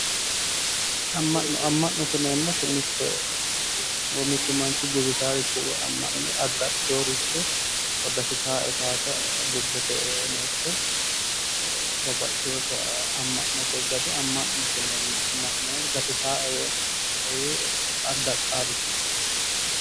amma'no amma'note yineemmoti mittu manchi guwisaaricho woyi addaxxinoricho gatisaae yee lobbosira gatisaae yee addaxxaarichooti.